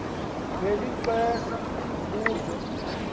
beli xesa butjho